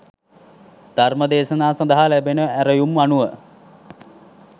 ධර්ම දේශනා සඳහා ලැබෙන ඇරැයුම් අනුව